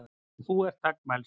Og hún er þagmælsk.